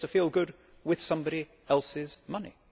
He gets to feel good with somebody else's money.